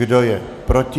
Kdo je proti?